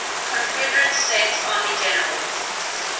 confederate states army generals